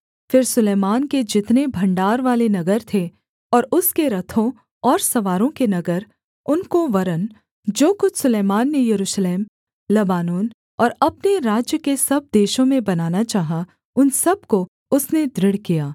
फिर सुलैमान के जितने भण्डारवाले नगर थे और उसके रथों और सवारों के नगर उनको वरन् जो कुछ सुलैमान ने यरूशलेम लबानोन और अपने राज्य के सब देशों में बनाना चाहा उन सब को उसने दृढ़ किया